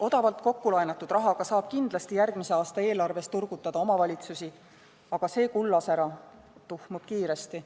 Odavalt kokku laenatud rahaga saab järgmise aasta eelarves kindlasti omavalitsusi turgutada, aga see kullasära tuhmub kiiresti.